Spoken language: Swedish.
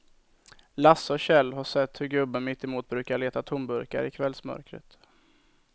Lasse och Kjell har sett hur gubben mittemot brukar leta tomburkar i kvällsmörkret.